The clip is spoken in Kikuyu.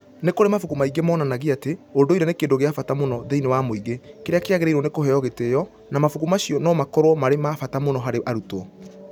Nĩ kũrĩ mabuku maingĩ monanagia atĩ ũndũire nĩ kĩndũ kĩa bata mũno thĩinĩ wa mũingĩ kĩrĩa kĩagĩrĩirũo nĩ kũheo gĩtĩo, na mabuku macio no makorũo marĩ ma bata mũno harĩ arutwo.